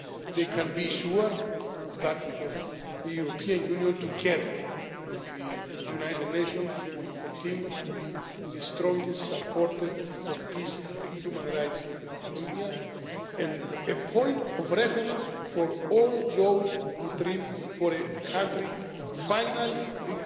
side. They can be sure that the European Union, together with the United Nations, will continue to be the strongest supporter of peace and human rights in Colombia, and a point of reference for all those who dream of a country finally reconciled.